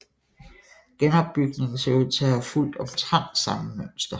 Genopbygningen ser ud til at have fulgt omtrent samme mønster